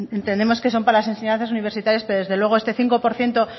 entendemos que son para las enseñanzas universitarias pero desde luego este cinco por ciento